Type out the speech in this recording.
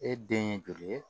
E den ye joli ye